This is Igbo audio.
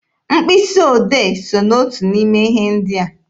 Mkpịsị odee so n'otu n'ime ihe ndị a.